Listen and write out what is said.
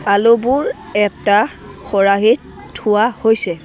আলুবোৰ এটা খৰাহীত থোৱা হৈছে।